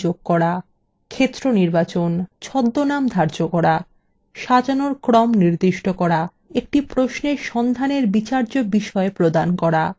ক্ষেত্র নির্বাচন